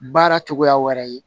Baara cogoya wɛrɛ ye